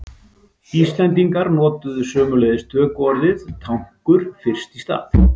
Íslendingar notuðu sömuleiðis tökuorðið tankur fyrst í stað.